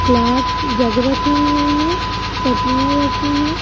Glass jug राखे हुए हैं चटनियाँ रखी हैं।